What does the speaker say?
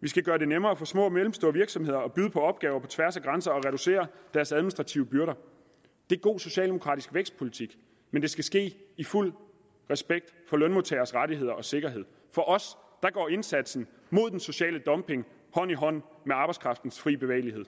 vi skal gøre det nemmere for små og mellemstore virksomheder at byde på opgaver på tværs af grænser og reducere deres administrative byrder det er god socialdemokratisk vækstpolitik men det skal ske i fuld respekt for lønmodtagernes rettigheder og sikkerhed for os går indsatsen mod den sociale dumping hånd i hånd med arbejdskraftens frie bevægelighed